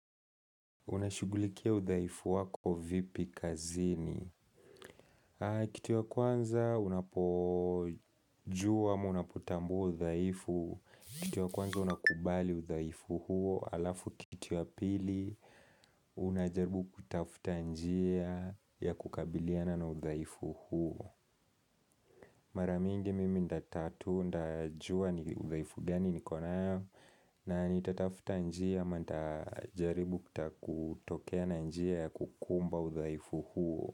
Unashugulikia udhaifu wako vipi kazini? Kitu ya kwanza unapojua ama unapotambu udhaifu Kitu ya kwanza unakubali uthaifu huo. Alafu kitu ya pili, unajaribu kutafuta njia ya kukabiliana na udhaifu huo. Mara mingi mimi nitajua ni udhaifu gani nikonao, na nitatafuta njia ama nitajaribu kutokea na njia ya kukumba udhaifu huo.